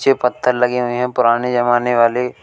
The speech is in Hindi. नीचे पत्थर लगे हुए हैं पुराने जमाने वाले।